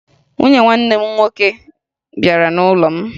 Nwanne nwunye m nke nwoke bịara n'ụlọ m